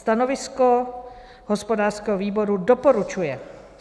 Stanovisko hospodářského výboru: doporučuje.